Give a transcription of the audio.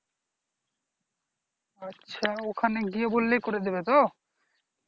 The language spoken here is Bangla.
আচ্ছা ওখানে গিয়ে বললেই করিয়ে দিবে তো